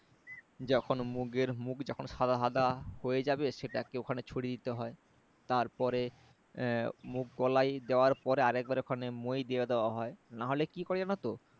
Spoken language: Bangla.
যখন মুগের মুগ যখন সাদা সাদা হয়ে যাবে সেটাকে ওখানে ছড়িয়ে দিতে হয় তারপরে হম মুগ কলাই দেয়ার পরে আরেকবার ওখানে মই দিয়ে দেওয়া হয় না হলে কি করে জানোতো